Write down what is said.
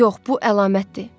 Yox, bu əlamətdir.